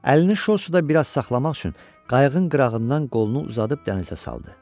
Əlini şorsuda biraz saxlamaq üçün qayığın qırağından qolunu uzadıb dənizə saldı.